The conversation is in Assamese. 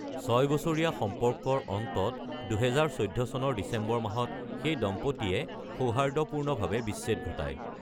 ছয় বছৰীয়া সম্পৰ্কৰ অন্তত ২০১৪ চনৰ ডিচেম্বৰ মাহত দম্পতীহালে সৌহাৰ্দ্যপূৰ্ণভাৱে বিচ্ছেদ ঘটায়।